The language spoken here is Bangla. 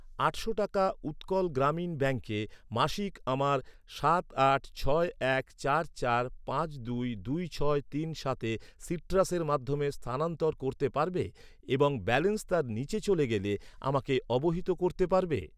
আটশো টাকা উৎকল গ্রামীণ ব্যাঙ্কে মাসিক আমার সাত আট ছয় এক চার চার পাঁচ দুই দুই ছয় তিন সাতে সিট্রাসের মাধ্যমে স্থানানন্তর করতে পারবে এবং ব্যালেন্স তার নিচে চলে গেলে আমাকে অবহিত করতে পারবে?